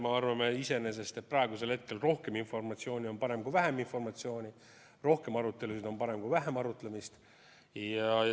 Ma arvan, et praegusel hetkel on rohkem informatsiooni parem kui vähem informatsiooni, rohkem arutelusid on parem kui vähem arutlemist.